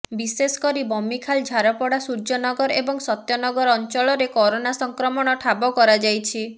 ବିଶେଷକରି ବମିଖାଲ ଝାରପଡ଼ା ସୂର୍ଯ୍ୟନଗର ଏବଂ ସତ୍ୟ ନଗର ଅଞ୍ଚଳରେ କରୋନା ସଂକ୍ରମଣ ଠାବ କରାଯାଇଛି